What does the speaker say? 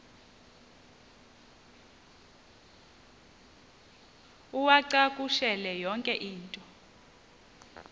uwacakushele yonke into